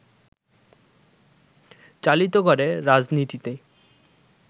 চালিত করে রাজনীতিতে